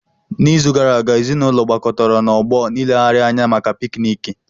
N'izu gara aga, ezinaụlọ gbakọtara na Ọgbọ nleghari anya maka pikniki.